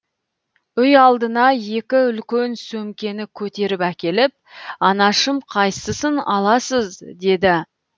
үй алдына екі үлкен сөмкені көтеріп әкеліп анашым қайсысын аласыз деді